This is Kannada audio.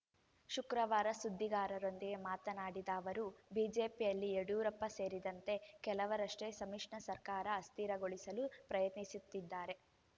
ಶುಕ್ರವಾರ ಸುದ್ದಿಗಾರರೊಂದಿಗೆ ಮಾತನಾಡಿದ ಅವರು ಬಿಜೆಪಿಯಲ್ಲಿ ಯಡಿಯೂರಪ್ಪ ಸೇರಿದಂತೆ ಕೆಲವರಷ್ಟೇ ಸಮ್ಮಿಶ್ರ ಸರ್ಕಾರ ಅಸ್ಥಿರಗೊಳಿಸಲು ಪ್ರಯತ್ನಿಸುತ್ತಿದ್ದಾರೆ